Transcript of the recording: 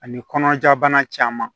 Ani kɔnɔna jabana caman